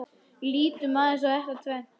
Lítum aðeins á þetta tvennt.